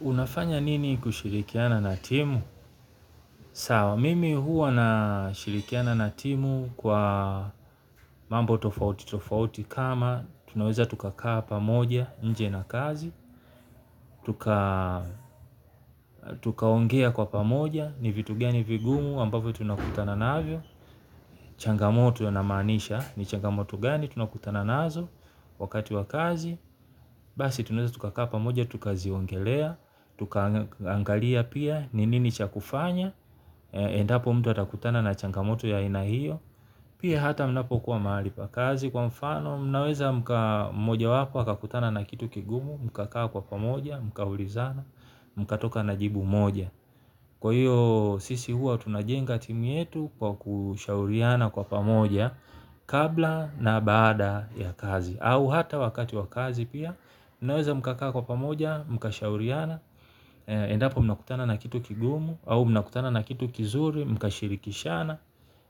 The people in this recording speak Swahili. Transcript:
Unafanya nini kushirikiana na timu? Sawa, mimi huwa na shirikiana na timu kwa mambo tofauti, tofauti kama tunaweza tukakaa pamoja, nje na kazi, tuka ongea kwa pamoja, ni vitu gani vigumu, ambavyo tunakutana na avyo, changamoto na manisha, ni changamoto gani, tunakutana naazo wakati wa kazi, basi tunaweza tukakaa pamoja, tukaziongelea, tukangalia pia, ni nini chakufanya. Endapo mtu atakutana na changamoto ya aina hiyo. Pia hata mnapo kuwa mahali pa kazi kwa mfano mnaweza mkamoja wako wakakutana na kitu kigumu, mkakaa kwa pamoja, mkaulizana, mkatoka na jibu moja. Kwa hiyo sisi huwa tunajenga timu yetu kwa kushauriana kwa pamoja kabla na baada ya kazi au hata wakati wakazi pia, mnaweza mkakaa kwa pamoja, mkashauriana, endapo mnakutana na kitu kigumu, au mnakutana na kitu kizuri, mkashirikishana.